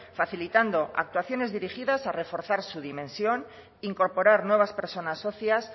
facilitando actuaciones dirigidas a reforzar su dimensión incorporar nuevas personas socias